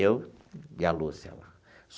Eu e a Lúcia lá.